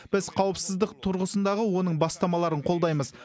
біз қауіпсіздік тұрғысындағы оның бастамаларын қолдаймыз